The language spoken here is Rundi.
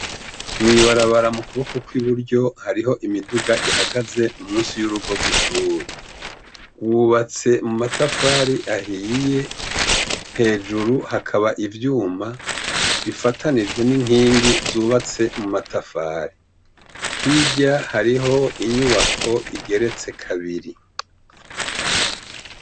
Mwibarabara mukuboko kukuryo hariho imiduga ihagaze munsi yurugo rwishure hubatse mumatafari ahiye hejuru hakaba ivyuma bifatanijwe ninkiki zubatse muma tafari hirya hariho inyubako igeretse kabiri